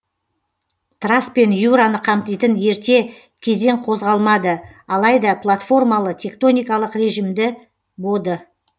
трас пен юраны қамтитын ерте кезең қозғалмады алайда платформалы тектоникалық режимді боды